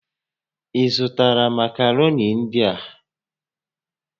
Ị zụtara makaroni ndị a?